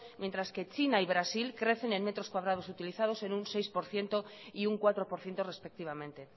mientras que china y brasil crece en metros cuadrados utilizados en un seis por ciento y un cuatro por ciento respectivamente